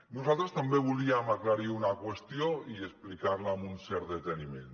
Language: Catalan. nosaltres també volíem aclarir una qüestió i explicar la amb un cert deteniment